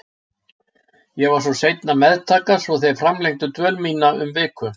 Ég var seinn að meðtaka svo þeir framlengdu dvöl mína um viku.